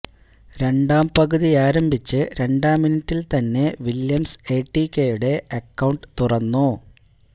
രണ്ടാം പകുതിയാരംഭിച്ച് രണ്ടാം മിനിറ്റില് തന്നെ വില്ല്യംസ് എടിക്കെയുടെ അക്കൌണ്ട് തുറന്നു